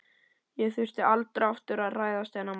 Ég þurfti aldrei aftur að hræðast þennan mann.